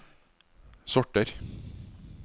sorter